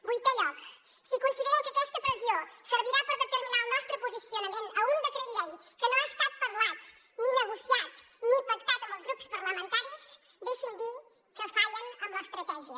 vuitè lloc si consideren que aquesta pressió servirà per determinar el nostre posicionament en un decret llei que no ha estat parlat ni negociat ni pactat amb els grups parlamentaris deixi’m dir que fallen amb l’estratègia